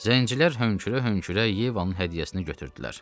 Zəncilər hönkürə-hönkürə Yevanın hədiyyəsini götürdülər.